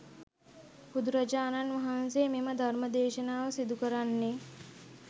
බුදුරජාණන් වහන්සේ මෙම ධර්ම දේශනාව සිදු කරන්නේ